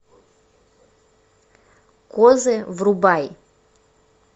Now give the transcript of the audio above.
козы врубай